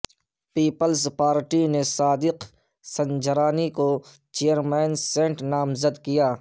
Peoples Party نے صادق سنجرانی کو chairman senate نامزد کردیا